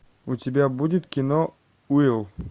у тебя будет кино уилл